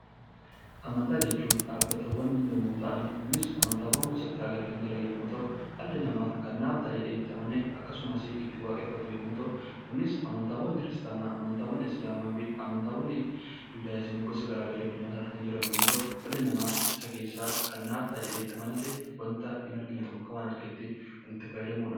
Amantaawwan jechuun dhaabbilee yommuu ta'an kunis amantaawwan gosa garaagaraa kan jiran yommuu ta'u, kunis dhalli namaa kan naaf ta'a jedhee itti amane akkasumas itti waaqeffatu yommuu ta'u, kunis amataawwan kiristaanaa, islaamaa fi juudaayizimii gosa garaagaraa addunyaa kanarra kan jiran yommuu ta'u, dhalli namaaisa keessaa kan naaf ta'a jedhaa itti amanate wanta hin argine tokko akka waan arguutti itti fayyadamudha.